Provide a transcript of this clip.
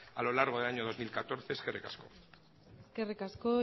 a lo largo del año dos mil catorce eskerrik asko eskerrik asko